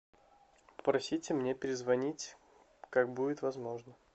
попросите мне перезвонить как будет возможно